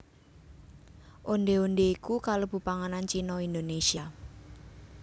Ondhé ondhé iku kalebu panganan Cina Indonésia